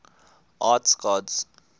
arts gods